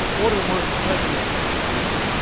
форы можно сказать нет